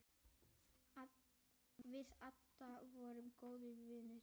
Við Adda vorum góðir vinir.